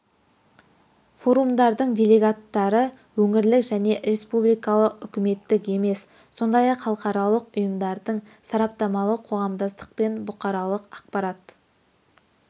форумдардың делегаттары өңірлік және республикалық үкіметтік емес сондай-ақ халықаралық ұйымдардың сараптамалық қоғамдастық пен бұқаралық ақпарат